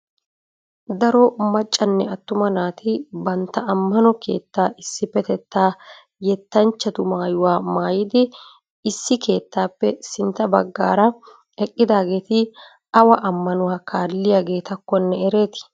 daro maccanne attuma naati bantta ammano keettaa issippetetta yettanchchatu maayuwa maayiddi issi keettappe sintta baggara eqqidageeti awa ammanuwa kaalliyagetakkonne ereeti?